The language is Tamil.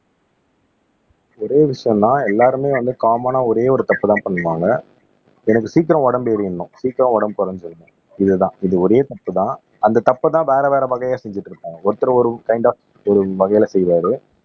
ஒரே விஷயம்தான் எல்லாருமே வந்து காமன்னா ஒரே ஒரு தப்புதான் பண்ணுவாங்க எனக்கு சீக்கிரம் உடம்பு ஏறிடணும் சீக்கிரம் உடம்பு குறைஞ்சுறணும் இதுதான் இது ஒரே தப்புதான் அந்த தப்பைதான் வேற வேற வகையா செஞ்சிட்டு இருப்பாங்க ஒருத்தர் ஒரு கைன்ட் ஆப் ஒரு வகையில செய்வாரு